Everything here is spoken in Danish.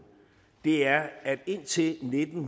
er at indtil nitten